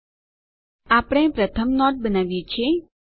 લ્ટપોઝેગ્ટ આપણે પ્રથમ નોટ બનાવ્યી છે